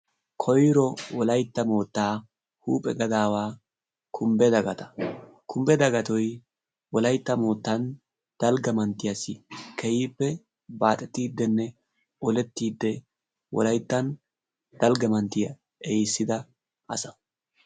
koyro wolaytta mootaa huuphe gadaawaa dagatoo kumba. ikka wolaytta mootaa dalgga manttiya ehiisida asa.